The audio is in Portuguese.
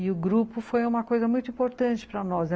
E o grupo foi uma coisa muito importante para nós.